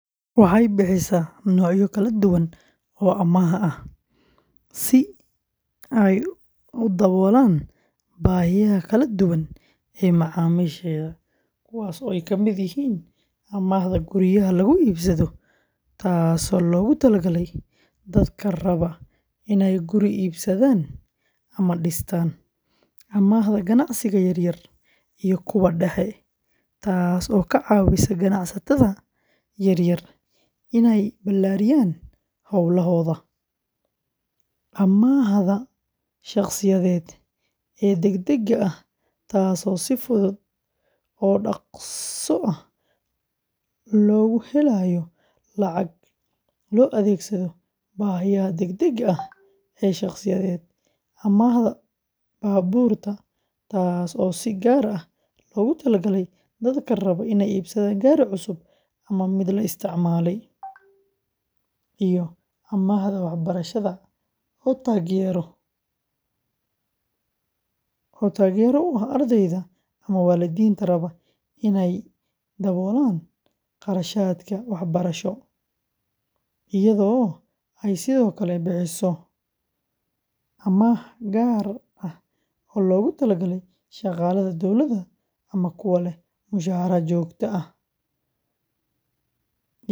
Waxay bixisaa noocyo kala duwan oo amaah ah si ay u daboolaan baahiyaha kala duwan ee macaamiisheeda, kuwaas oo ay ka mid yihiin amaahda guryaha lagu iibsado, taasoo loogu talagalay dadka raba inay guri iibsadaan ama dhistaan; amaahda ganacsiga yar yar iyo kuwa dhexe, taas oo ka caawisa ganacsatada yaryar inay ballaariyaan hawlahooda; amaahda shaqsiyeed ee degdega ah, taasoo si fudud oo dhaqso ah loogu helayo lacag loo adeegsado baahiyaha degdegga ah ee shakhsiyeed; amaahda baabuurta, taas oo si gaar ah loogu talagalay dadka raba inay iibsadaan gaari cusub ama mid la isticmaalay; iyo amaahda waxbarashada, oo taageero u ah ardayda ama waalidiinta raba in ay daboolaan kharashaadka waxbarasho; iyadoo ay sidoo kale bixiso amaah gaar ah oo loogu talagalay shaqaalaha dowladda ama kuwa leh mushahar joogto ah.